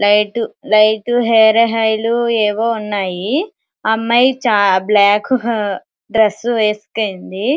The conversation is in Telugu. లైటు లైటు హెయిర్ ఆయిల్ ఏవో ఉన్నాయి అమ్మాయి బ్లాక్ డ్రెస్ వేసుకొని ఉంది.